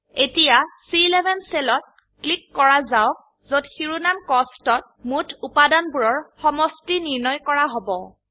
এতিয়া চি11 সেলত ক্লিক কৰা যাওক যত শিৰোনাম কস্ট ত মোট উপাদানবোৰৰ সমষ্টি নিৰ্ণয় কৰা হব